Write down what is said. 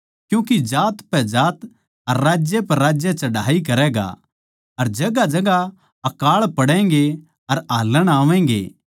क्यूँके जात पै जात अर राज्य पै राज्य चढ़ाई करैगा अर जगहांजगहां अकाळ पड़ैंगें अर हाल्लण आवैगें